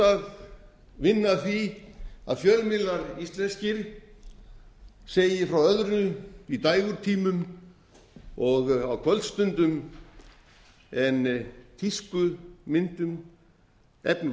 að vinna að því að fjölmiðlar íslenskir segi frá öðru í dægurtímum og á kvöldstundum en tískumyndum efni úr